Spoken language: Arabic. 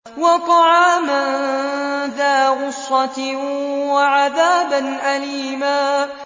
وَطَعَامًا ذَا غُصَّةٍ وَعَذَابًا أَلِيمًا